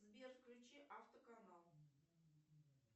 сбер включи автоканал